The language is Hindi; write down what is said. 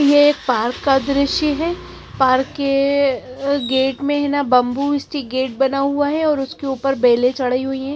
ये पार्क का दृश्य हे पार्क के अ गेट में हेना बम्बू स्टिक गेट बना हुआ हैं और उसके ऊपर बेले चड़ई हुई हैं।